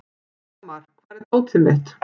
Hamar, hvar er dótið mitt?